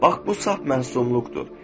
Bax bu saf məsumluqdur.